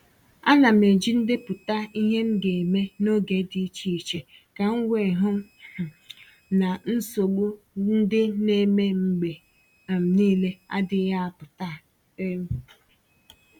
A na m eji ndepụta ihe m ga-eme n’oge dị iche iche ka m wee hụ um na nsogbu ndị na-eme mgbe um niile adịghị apụta um